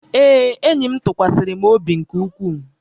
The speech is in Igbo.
Ee, enyi m tụkwasịrị m obi nke ukwuu